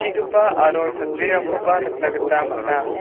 aro chatrirangkoba nikna gita man·a.